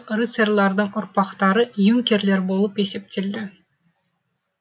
рыцарьлардың ұрпақтары юнкерлер болып есептелді